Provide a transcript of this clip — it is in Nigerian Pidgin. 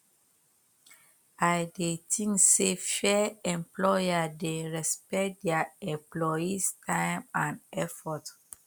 i dey think say fair employer dey respect dia employees time and effort